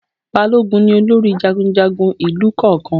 Balógun ni olórí jagunjagun ìlù kọ̀ọ̀kan